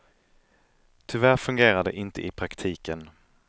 Tyvärr fungerar det inte i praktiken.